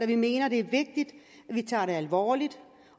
vi mener det er vigtigt at vi tager det alvorligt